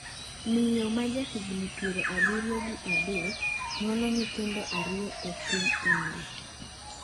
Miyo ma ja higni piero abiriyo gi adek nyuolo nyithindo ariyo e piny India